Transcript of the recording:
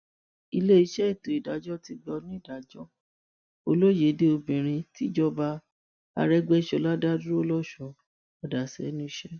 iléeṣẹ́ ètò ìdájọ ti gba onídàájọ olóyèdè obìnrin tìjọba àrégbèsọlá dá dúró losùn padà sẹnu iṣẹ